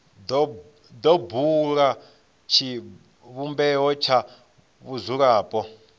do bula tshivhumbeo tsha vhadzulapo